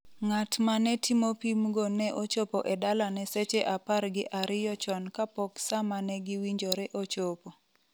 Ng’at ma ne timo pimgo ne ochopo e dalane seche apar gi ariyo chon kapok sa ma ne giwinjore ochopo.